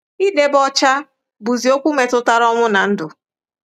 Idebe ọcha bụzi okwu metụtara ọnwụ na ndụ.